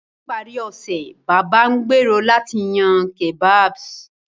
Ní ìparí ọ̀sẹ̀, Baba ngbèrò láti yan kebabs.